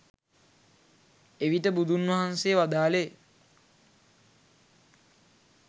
එවිට බුදුන් වහන්සේ වදාළේ